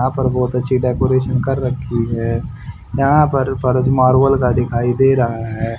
यहां पर बहोत अच्छी डेकोरेशन कर रखी है यहां फर्श मार्बल का दिखाई दे रहा है।